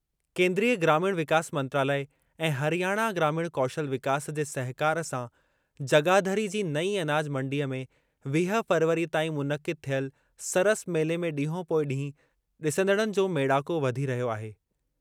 केन्द्रीय ग्रामीण विकास मंत्रालय ऐं हरियाणा ग्रामीण कौशल विकास जे सहिकार सां जगाधरी जी नईं अनाज मंडीअ में वीह फ़रवरी ताईं मुनक़िद थियल सरस मेले में ॾींहों पोइ ॾींहुं ॾिसंदड़नि जो मेड़ाको वधी रहियो आहे।